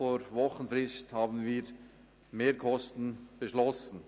Vor Wochenfrist haben wir mehr Kosten beschlossen.